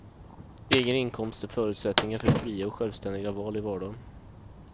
Egen inkomst är förutsättningen för fria och självständiga val i vardagen.